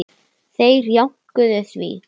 Þeir jánkuðu því.